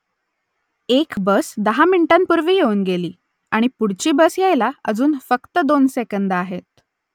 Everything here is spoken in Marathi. एक बस दहा मिनिटांपूर्वी येऊन गेली आणि पुढची बस यायला अजून फक्त दोन सेकंदं आहेत